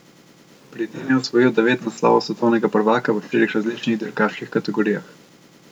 Pri tem je osvojil devet naslovov svetovnega prvaka v štirih različnih dirkaških kategorijah.